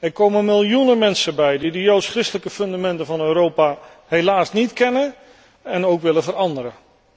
Er komen miljoenen mensen bij die de joods christelijke fundamenten van Europa helaas niet kennen en ook willen veranderen.